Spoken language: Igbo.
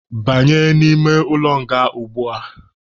Banye n'ime ụlọ nga ugbua!.